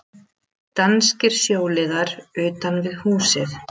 Danskir sjóliðar utan við húsið.